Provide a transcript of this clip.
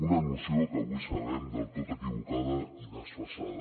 una noció que avui sabem del tot equivocada i desfasada